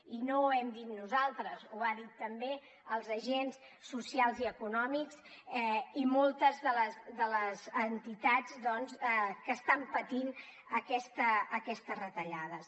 i no hem dit nosaltres ho han dit també els agents socials i econòmics i moltes de les entitats que estan patint aquestes retallades